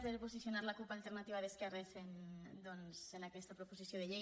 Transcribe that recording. per posicionar la cup · alternativa d’es·querres en aquesta proposició de llei